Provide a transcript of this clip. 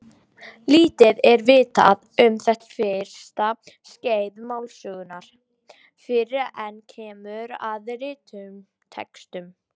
Lítið er vitað um þetta fyrsta skeið málsögunnar fyrr en kemur að rituðum textum.